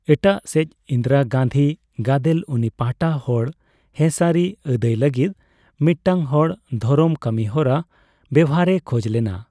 ᱮᱴᱟᱜᱥᱮᱪ, ᱤᱱᱫᱤᱨᱟ ᱜᱟᱱᱫᱷᱤ ᱜᱟᱫᱮᱞ ᱩᱱᱤ ᱯᱟᱦᱟᱴᱟ ᱦᱚᱲ ᱦᱮᱸᱥᱟᱹᱨᱤ ᱟᱹᱫᱟᱭ ᱞᱟᱹᱜᱤᱫ ᱢᱤᱫᱴᱟᱝ ᱦᱚᱲ ᱫᱷᱚᱨᱚᱢ ᱠᱟᱹᱢᱤᱦᱚᱨᱟ ᱵᱮᱣᱦᱟᱨᱮ ᱠᱷᱚᱡᱞᱮᱱᱟ᱾